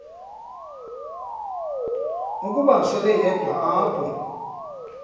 ukuba seleyedwa apho